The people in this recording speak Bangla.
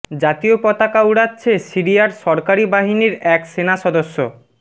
জাতীয় পতাকা উড়াচ্ছে সিরিয়ার সরকারি বাহিনীর এক সেনা সদস্য